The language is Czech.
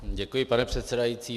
Děkuji, pane předsedající.